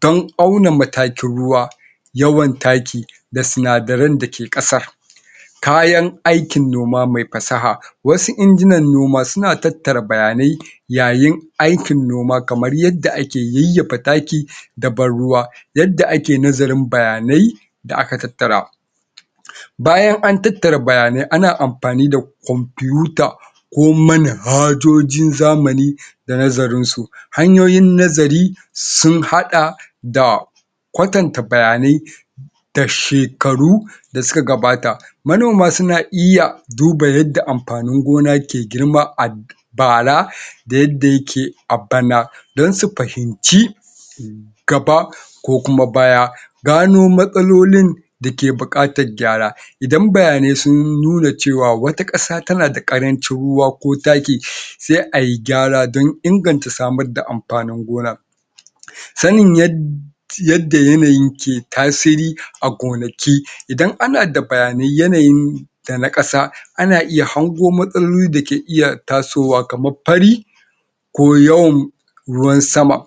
dan auna matakin ruwa yawan taki da sinadaran da ke ƙasa kayan aikin noma me fasaha wasu injinan noma suna tattara bayanai yayin aikin noma kamar yadda ake yayyafa taki da ban ruwa yadda ake nazarin bayanai da aka tattara bayan an tattara bayanai ana amfani da computer ko manhajojin zamani da nazarin su hanyoyin nazari sun haɗa da kwatanta bayanai da shekaru da suka gabata manoma suna iya duba yadda amfanin gona ke girma a bara da yadda ya ke a bana dan su fahimci gaba ko kuma baya gano matsalolin da ke buƙatar gyara idan bayanai sun nuna cewa wata ƙasa tana da ƙarancin ruwa ko taki sai ai gyara dan inganta samar da amfanin gona sanin yadda yanayin ke tasiri a gonaki, idan ana da bayanai yanayin da na ƙasa ana iya hango matsaloli da ke iya tasowa kamar fari ko yawan ruwan sama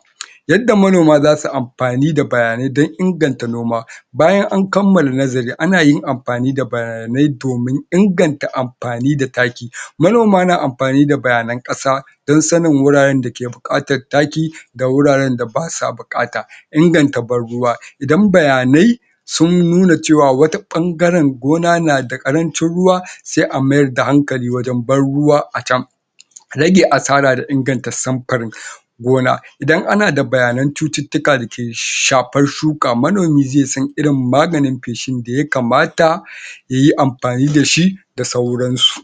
yadda manoma zasu amfani da bayanai dan inganta noma bayan an kammala nazari ana yin amfani da bayanai domin inganta amfani da taki manoma na amfani da bayanan ƙasa dan sanin wuraren da ke buƙatar taki da wuraren da basa buƙata inganta ban ruwa idan bayanai sun nuna cewa wata ɓangaren gona na da ƙarancin ruwa sai a mayar da hankali wajen ban ruwa a can rage asara da inganta sanfurin gona idan ana da bayanan cututtuka da ke shafan shuka, manomi ze san irin maganin feshin da ya kamata yayi amfani da shi da sauran su.